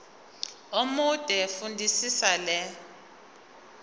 omude fundisisa le